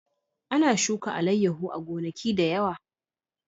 Ana shuka alayyahu a gonaki da yawa